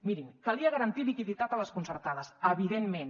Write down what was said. mirin calia garantir liquiditat a les concertades evidentment